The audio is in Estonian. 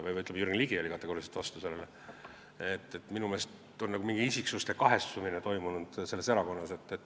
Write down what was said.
Minu meelest on selles erakonnas toimunud nagu mingi isiksuste kahestumine.